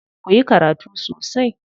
Ku yi karatu sosai.